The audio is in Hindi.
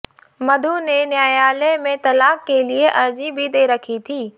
मधु ने न्यायालय में तलाक के लिए अर्जी भी दे रखी थी